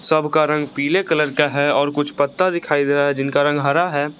सब का रंग पीले कलर का है और कुछ पत्ता दिखाई दे रहा है जिनका रंग हरा है।